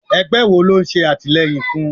Ẹgbẹ́ wo lò ń ṣe àtìleyìn fún?